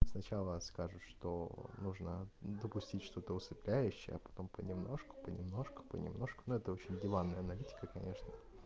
сначала скажешь что нужно допустить что-то усыпляющее потом понемножку понемножку понемножку но это очень диванная аналитика конечно